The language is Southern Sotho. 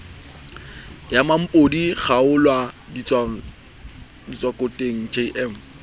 ya mmampodi kgwaolla ditswakotleng jm